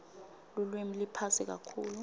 lulwimi liphasi kakhulu